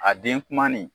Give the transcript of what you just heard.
A den kumanin